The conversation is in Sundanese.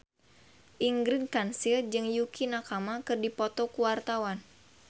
Ingrid Kansil jeung Yukie Nakama keur dipoto ku wartawan